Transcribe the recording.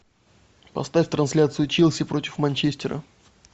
поставь трансляцию челси против манчестера